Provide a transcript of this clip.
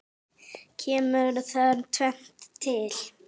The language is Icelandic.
Kemur þar tvennt til.